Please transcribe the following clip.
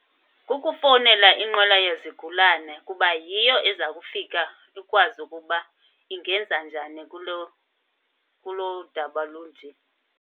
Ukufowunela inqwela yezigulana kuba yiyo eza kufika ikwazi ukuba ingenza njani kuloo, kuloo daba lunje.